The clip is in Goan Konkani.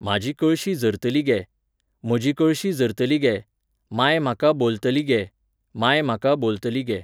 म्हाजी कळशी झरतली गे, म्हाजी कळशी झरतली गे, मांय म्हाका बोलतली गे, मांय म्हाका बोलतली गे.